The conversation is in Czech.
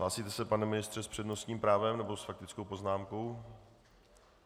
Hlásíte se, pane ministře, s přednostním právem nebo s faktickou poznámkou?